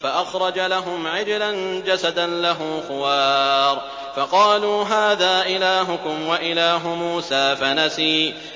فَأَخْرَجَ لَهُمْ عِجْلًا جَسَدًا لَّهُ خُوَارٌ فَقَالُوا هَٰذَا إِلَٰهُكُمْ وَإِلَٰهُ مُوسَىٰ فَنَسِيَ